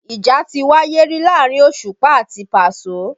Ìjà ti wáyé rí láàrin Òṣùpá àti Paso